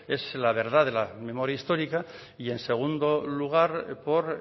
es la verdad de la memoria histórica y en segundo lugar por